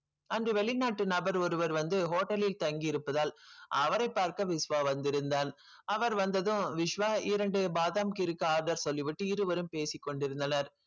அங்கு வெளிநாட்டு நபர் ஒருவர் வந்து hotel லில் தங்கி இருப்பதால் அவரை பார்க்க விஷ்வா வந்திருந்தான் அவர் வந்ததும் விஷ்வா இரண்டு பாதாம் கீர்க்கு order சொல்லி விட்டு இருவரும் பேசிக் கொண்டிருந்தனர்